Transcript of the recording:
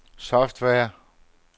software